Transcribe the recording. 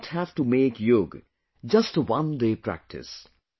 We do not have to make Yoga just a one day practice